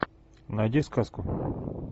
найди сказку